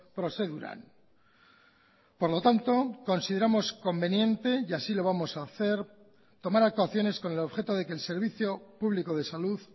prozeduran por lo tanto consideramos conveniente y así lo vamos a hacer tomar actuaciones con el objeto de que el servicio público de salud